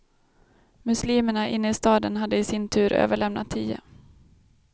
Muslimerna inne i staden hade i sin tur överlämnat tio.